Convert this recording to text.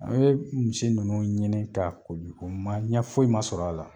An bɛ misi nunnu ɲinin ka koli o ma ɲɛ foyi ma sɔrɔ a la.